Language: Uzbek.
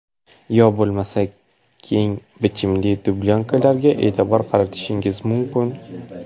Yo bo‘lmasa keng bichimli dublyonkalarga e’tibor qaratishingiz mumkin.